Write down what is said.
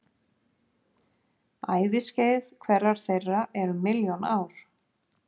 Æviskeið hverrar þeirra er um milljón ár.